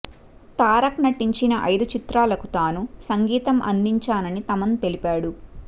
తారక్ నటించిన ఐదు చిత్రాలకు తాను సంగీతం అందించానని తమన్ తెలిపాడు